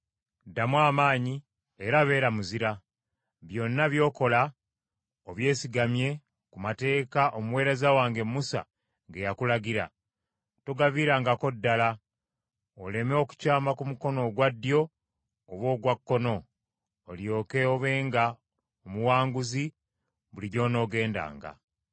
Ddamu amaanyi era beera muzira, byonna by’okola obyesigamye ku mateeka omuweereza wange Musa ge yakulagira; togaviirangako ddala, oleme okukyama ku mukono ogwa ddyo oba ogwa kkono olyoke obenga omuwanguzi buli gy’onoogendanga.